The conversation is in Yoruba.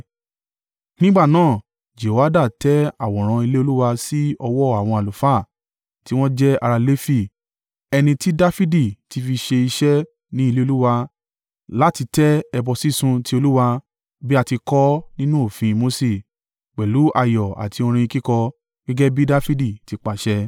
Nígbà náà, Jehoiada tẹ àwòrán ilé Olúwa sí ọwọ́ àwọn àlùfáà tí wọ́n jẹ́ ará Lefi ẹni tí Dafidi ti fi ṣe iṣẹ́ ní ilé Olúwa láti tẹ ẹbọ sísun ti Olúwa bí a ti kọ ọ́ nínú òfin Mose, pẹ̀lú ayọ̀ àti orin kíkọ, gẹ́gẹ́ bí Dafidi ti pàṣẹ.